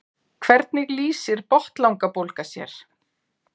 hvernig lýsir botnlangabólga sér